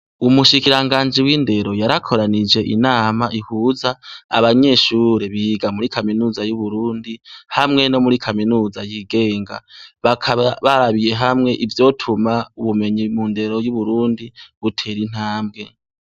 Umushikiranganji w'indero yarakoranije inama ihuza abanyeshure biga muri kaminuza y'uburundi hamwe no muri kaminuza yigenga bakaba barabiye hamwe ivyotuma ubumenyi mu ndero y'uburundi butera intambwe.